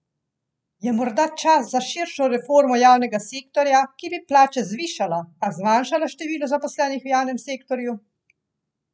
Je morda čas za širšo reformo javnega sektorja, ki bi plače zvišala, a zmanjšala število zaposlenih v javnem sektorju?